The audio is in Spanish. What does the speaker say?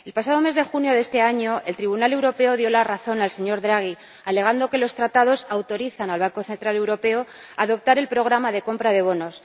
El pasado mes de junio de este año, el Tribunal de Justicia de la Unión Europea dio la razón al señor Draghi, alegando que los Tratados autorizan al Banco Central Europeo a adoptar el programa de compra de bonos.